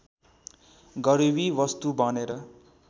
गरिबी वस्तु बनेर